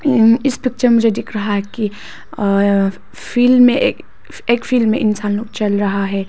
इस पिक्चर मुझे दिख रहा है की अ फिल्ड में एक फील्ड में इंसान लोग चल रहा है।